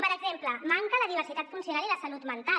per exemple hi manquen la diversitat funcional i la salut mental